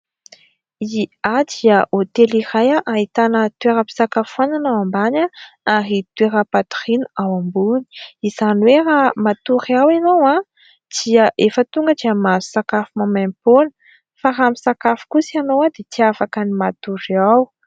Ny "A" dia hôtely iray ahitana toeram-pisakafoanana ao ambany ary toeram-patoriana ao ambony, izany hoe raha matory ao ianao dia efa tonga dia mahazo sakafo maimaim-poana fa raha misakafo kosa ianao dia tsy afaka ny matory ao.